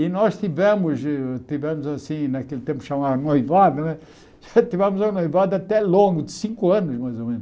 E nós tivemos, tivemos assim naquele tempo chamava noivado né, tivemos um noivado até longo, de cinco anos mais ou menos.